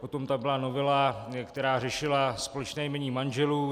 Potom tam byla novela, která řešila společné jmění manželů.